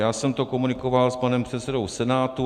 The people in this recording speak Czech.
Já jsem to komunikoval s panem předsedou Senátu.